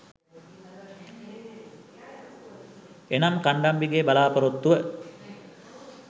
එනම් කණ්ඩම්බිගේ බලාපොරොත්තුව